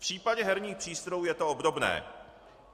V případě herních přístrojů je to obdobné.